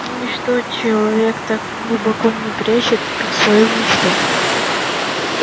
ничто человек так глубоко не прячет как свою мечту